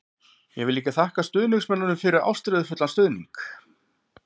Ég vil líka þakka stuðningsmönnum fyrir ástríðufullan stuðning.